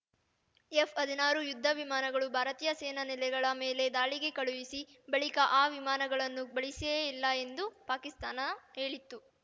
ಎಫ್‌ಹದಿನಾರು ಯುದ್ಧ ವಿಮಾನಗಳನ್ನು ಭಾರತೀಯ ಸೇನಾ ನೆಲೆಗಳ ಮೇಲೆ ದಾಳಿಗೆ ಕಳುಹಿಸಿ ಬಳಿಕ ಆ ವಿಮಾನಗಳನ್ನು ಬಳಸಿಯೇ ಇಲ್ಲ ಎಂದು ಪಾಕಿಸ್ತಾನ ಹೇಳಿತ್ತು